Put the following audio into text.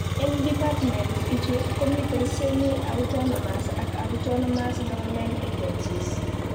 Eng departments ichu komitei Semi-Autonomous ak Autonomous government agencies (SAGAs)